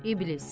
İblis.